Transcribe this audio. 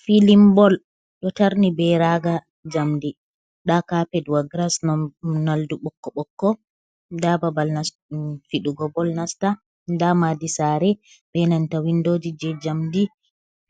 Filin ɓol, ɗo tarni ɓe raga jamɗi. Nɗa kapet wa, giras nolɗe bokko bokko. Nɗa ɓaɓal fiɗugo bol nasta. Nɗa maɗi sare, ɓe nanta winɗoji je jamɗi.